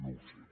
no ho sé